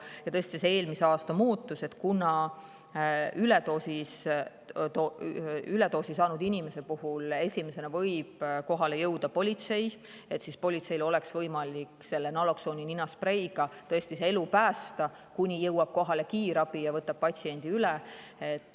Ja tõesti see eelmise aasta muutus – kuna üledoosi saanud inimese puhul esimesena võib kohale jõuda politsei, siis politseil peab olema võimalik selle naloksooni ninaspreiga inimese elu päästa, kuni jõuab kohale kiirabi ja võtab patsiendi üle.